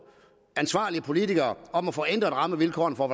ansvarlige politikere om at få ændret rammevilkårene for